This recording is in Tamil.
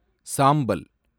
சாம்பல்